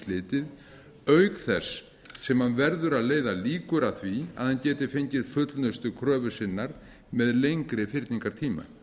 slitið auk þess sem hann verður að leiða líkur að því að hann geti fengið fullnustu kröfu sinnar með lengri fyrningartíma